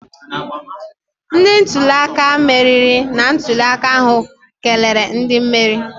Ndị ntuli aka meriri na ntuli aka ahụ kelere ndị meriri